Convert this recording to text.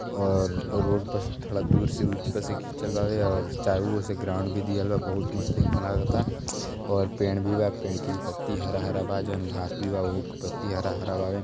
और रोड पर से थोड़ा दूर पर से ऊंच पर से खिचल बावे और चारों ओर से ग्राउंड भी दिहल बा। बहुत मस्त एमे लागता और पेड़ भी बा। पेड़ की भी पत्ती हरा हरा बा। जौन घास भी बा ओहु के पत्ती भी हरा हरा बावे।